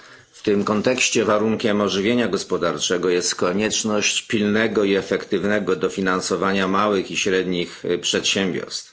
W tym kontekście warunkiem ożywienia gospodarczego jest konieczność pilnego i efektywnego dofinansowania małych i średnich przedsiębiorstw.